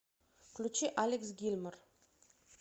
включи алекс гилмор